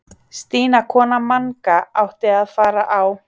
Stína kona Manga átti að fara á